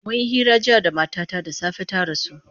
Mun yi hira jiya da matata da safe ta rasu.